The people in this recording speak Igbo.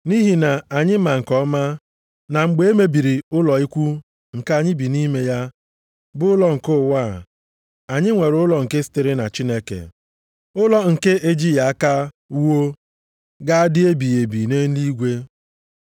Nʼihi na anyị ma nke ọma na mgbe e mebiri ụlọ ikwu nke anyị bi nʼime ya, bụ ụlọ nke ụwa a, anyị nwere ụlọ nke sitere na Chineke, ụlọ nke ejighị aka wuo, ga-adị ebighị ebi nʼeluigwe.